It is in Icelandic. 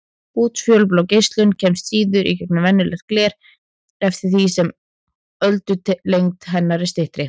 Útfjólublá geislun kemst síður í gegnum venjulegt gler eftir því sem öldulengd hennar er styttri.